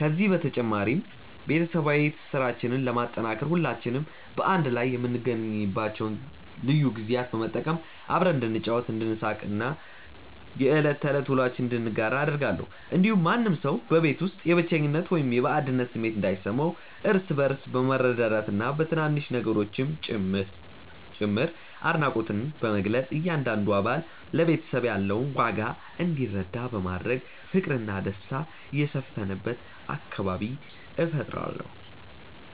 ከዚህ በተጨማሪ፣ ቤተሰባዊ ትስስራችንን ለማጠናከር ሁላችንም በአንድ ላይ የምንገኝባቸውን ልዩ ጊዜያት በመጠቀም አብረን እንድንጫወት፣ እንድንሳቅ እና የዕለት ተዕለት ውሎአችንን እንድንጋራ አደርጋለሁ። እንዲሁም ማንም ሰው በቤት ውስጥ የብቸኝነት ወይም የባዕድነት ስሜት እንዳይሰማው፣ እርስ በእርስ በመረዳዳትና በትናንሽ ነገሮችም ጭምር አድናቆትን በመግለጽ እያንዳንዱ አባል ለቤተሰቡ ያለውን ዋጋ እንዲረዳ በማድረግ ፍቅርና ደስታ የሰፈነበት አካባቢ እፈጥራለሁ።